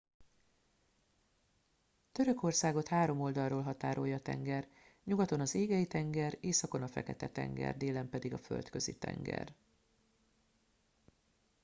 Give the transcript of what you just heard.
törökországot három oldalról határolja tenger nyugaton az égei tenger északon a fekete tenger délen pedig a földközi tenger